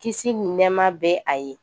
Kisi ni nɛɛma bɛ a ye